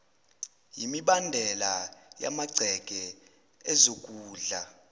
yimibandela yamagceke ezokudla